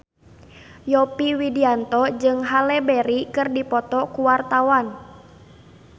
Yovie Widianto jeung Halle Berry keur dipoto ku wartawan